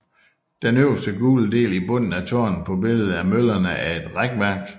Den øverste gule del i bunden af tårnet på billedet af møllerne er et rækværk